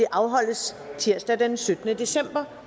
afholdes tirsdag den syttende december